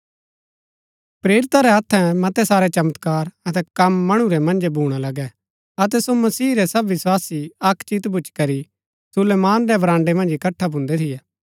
प्रेरिता रै हत्थै मतै सारै चमत्कार अतै कम मणु रै मन्जै भूणा लगै अतै सो मसीह रै सब विस्वासी अक्क चित भूच्ची करी सुलैमान रै बराण्ड़ै मन्ज इकट्ठा भून्दै थियै